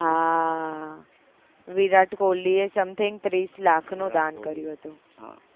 હા વિરાટ કોહલી એ something ત્રીસ લાખ નું દાન કર્યું હતું